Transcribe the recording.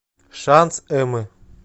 шанс эммы